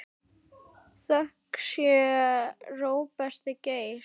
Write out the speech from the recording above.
Þökk sé Róberti Geir.